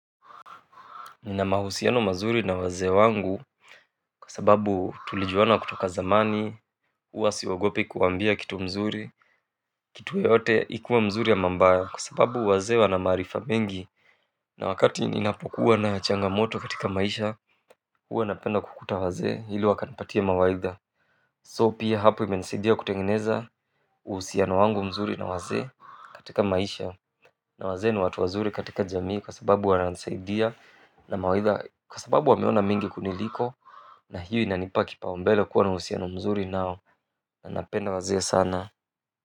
Nina mahusiano mazuri na wazee wangu kwa sababu tulijuana kutoka zamani, huwa siogopi kuwaambia kitu mzuri kitu yote ikuwe mzuri ama mbaya kwa sababu wazee wana maarifa mingi na wakati ninapokuwa na changamoto katika maisha, huwa napenda kukuta wazee ili wakanapatie mawaidha. So pia hapo imenisaidia kutengeneza uhusiano wangu mzuri na wazee katika maisha na wazee ni watu wazuri katika jamii kwa sababu wananisaidia na mawaidha kwa sababu wameona mengi kuniliko na hiyo inanipa kipaumbele kuwa na uhusiano mzuri nao na napenda wazee sana.